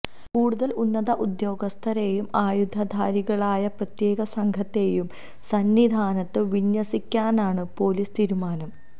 കൂടുതൽ ഉന്നത ഉദ്യോഗസ്ഥരെയും ആയുധധാരികളായ പ്രത്യേക സംഘത്തെയും സന്നിധാനത്ത് വിന്യസിക്കാനാണ് പൊലീസ് തീരുമാനം